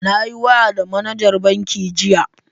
Na yi waya da manajar bankin jiya.